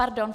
- Pardon.